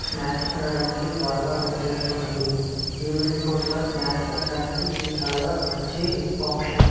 snacks తినడానికి బాగ పనిచేస్తున్నది ఈవెనింగ్ పూట్ల స్నాక్స్ తినడానికి ఇది చాల మంచి ఆప్షన్ --